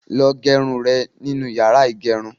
Lọ gẹ irun rẹ nínu yàrá ìgẹrun.